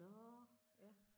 nå ja